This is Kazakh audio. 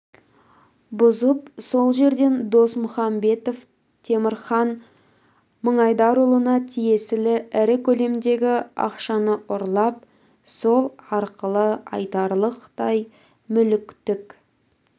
бұзып сол жерден досмұхамбетов темірхан мыңайдарұлына тиесілі ірі көлемдегі ақшаны ұрлап сол арқылы айтарлықтай мүліктік